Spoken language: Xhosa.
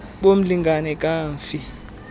bo mlingane kamfi